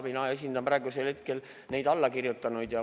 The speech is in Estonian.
Mina esindan praegusel hetkel allakirjutanuid.